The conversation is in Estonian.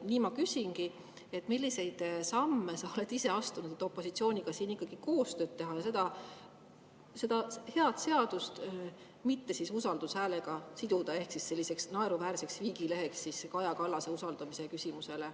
Nii ma küsingi, milliseid samme sa oled ise astunud, et opositsiooniga ikkagi koostööd teha ja seda head seadust mitte usaldushääletusega siduda ehk jätta selliseks naeruväärseks viigileheks Kaja Kallase usaldamise küsimusele.